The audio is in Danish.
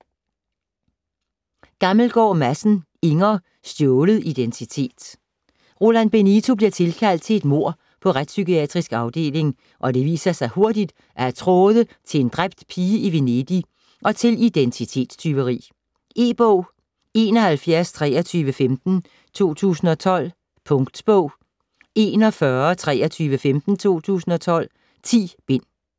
Gammelgaard Madsen, Inger: Stjålet identitet Roland Benito bliver tilkaldt til et mord på Retspsykiatrisk Afdeling, og det viser sig hurtigt at have tråde til en dræbt pige i Venedig og til identitetstyveri. E-bog 712315 2012. Punktbog 412315 2012. 10 bind.